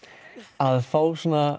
að fá